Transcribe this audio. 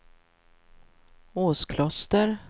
Åskloster